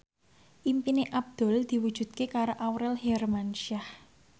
impine Abdul diwujudke karo Aurel Hermansyah